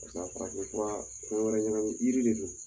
Ka farafin fura dɔ wɛrɛ ɲagamin jiri de don